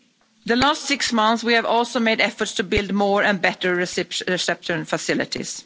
In the last six months, we have also made efforts to build more and better reception facilities.